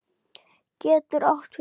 getur átt við